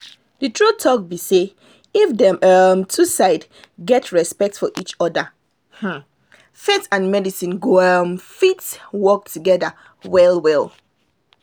true talk be say if dem um two side get respect for each other um faith and medicine go um fit work together well well